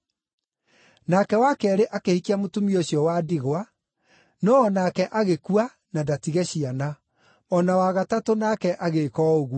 Nake wa keerĩ akĩhikia mũtumia ũcio wa ndigwa, no o nake agĩkua na ndatige ciana. O na wa gatatũ nake agĩĩka o ũguo.